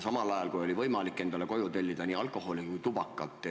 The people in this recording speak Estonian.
Samal ajal oli võimalik endale koju tellida nii alkoholi kui ka tubakat.